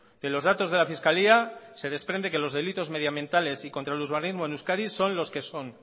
que los datos de la fiscalía se desprende que los delitos medioambientales y contra el urbanismo en euskadi son los que son